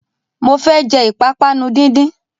Mo fẹ́ jẹ ìpápánu díndín